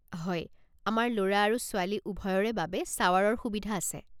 হয়, আমাৰ ল'ৰা আৰু ছোৱালী উভয়ৰে বাবে শ্বাৱাৰৰ সুবিধা আছে।